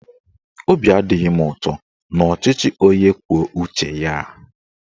Obi adịghị m ụtọ n'ọchịchị onye kwuo uche ya a.